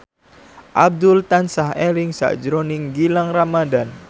Abdul tansah eling sakjroning Gilang Ramadan